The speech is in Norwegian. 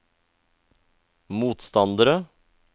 motstandere